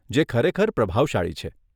જે ખરેખર પ્રભાવશાળી છે.